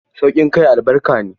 Sauƙin kai albarka ne.